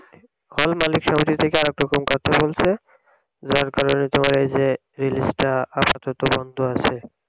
hall মালিক সমিতি থেকে আর এক রকম কথা বলছে যার কারণে টা তোমার এই যে release টা আপাতত বন্ধ আছে